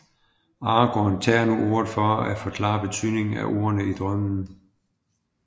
Aragorn tager nu ordet for at forklare betydningen af ordene i drømmen